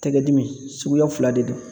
Tɛgɛ dimi, suguya fila de don.